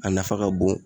A nafa ka bon